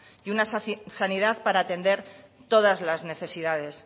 y una sanidad para atender todas las necesidades